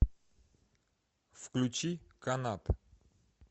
включи канат